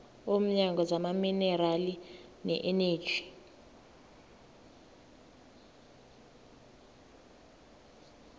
womnyango wezamaminerali neeneji